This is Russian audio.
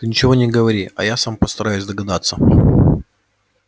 ты ничего не говори а я сам постараюсь догадаться